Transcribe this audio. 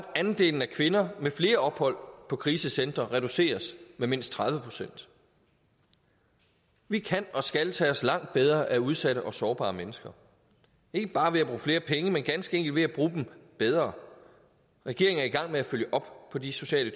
andelen af kvinder med flere ophold på krisecentre reduceres med mindst tredive procent vi kan og skal tage os langt bedre af udsatte og sårbare mennesker ikke bare ved at bruge flere penge men ganske enkelt ved at bruge dem bedre regeringen er i gang med at følge op på de sociale